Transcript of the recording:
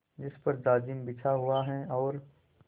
जिस पर जाजिम बिछा हुआ है और